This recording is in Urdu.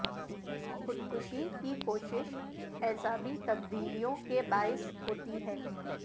خود کشی کی کوشش اعصابی تبدیلیوں کے باعث ہوتی ہے